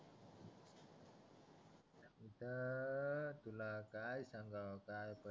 आता तुला काय सांगावं काय